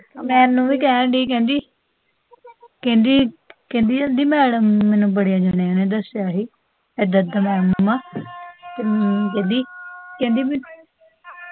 ਮੈਨੂੰ ਵੀ ਕਹਿਣ ਡੀ ਸੀ, ਕਹਿੰਦੀ ਕਹਿੰਦੀ ਕਹਿੰਦੀ ਕਹਿੰਦੀ ਮੈਡਮ, ਮੈਨੂੰ ਬੜੇ ਜਾਣਿਆ ਨੇ ਦਸਿਆ ਸੀ, ਇੱਦਾਂ ਇੱਦਾਂ ਮੈਡਮ ਮੰਮਾ ਕਹਿੰਦੀ ਕਹਿੰਦੀ